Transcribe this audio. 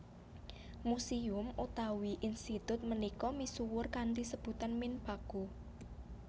Museum utawi institut punika misuwur kanthi sebutan Minpaku